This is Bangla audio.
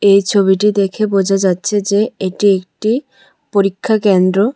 এই ছবিটি দেখে বোঝা যাচ্ছে যে এটি একটি পরীক্ষাকেন্দ্র।